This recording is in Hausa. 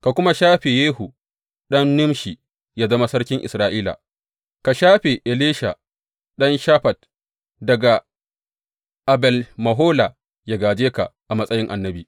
Ka kuma shafe Yehu ɗan Nimshi yă zama sarkin Isra’ila, ka shafe Elisha ɗan Shafat daga Abel Mehola yă gāje ka a matsayin annabi.